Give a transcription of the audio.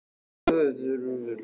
Á leiðinni tekur hún mikla ákvörðun